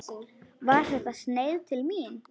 Var þetta sneið til mín?